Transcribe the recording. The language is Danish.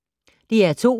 DR2